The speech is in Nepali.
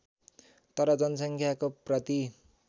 तर जनसङ्ख्याको प्रति